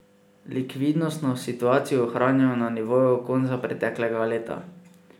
Likvidnostno situacijo ohranjajo na nivoju konca preteklega leta.